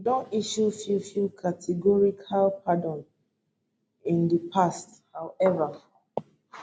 e don issue few few categorical pardons in di past however